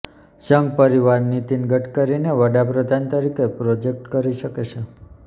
સંઘ પરિવાર નીતિન ગડકરીને વડાપ્રધાન તરીકે પ્રોજેક્ટ કરી શકે છે